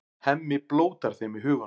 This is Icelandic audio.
Hemmi blótar þeim í huganum.